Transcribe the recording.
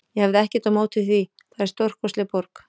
Ég hefði ekkert á móti því það er stórkostleg borg.